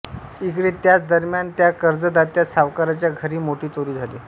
इकडे त्याच दरम्यान त्या कर्जदात्या सावकाराच्या घरी मोठी चोरी झाली